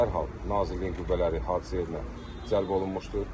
Dərhal nazirliyin qüvvələri hadisə yerinə cəlb olunmuşdur.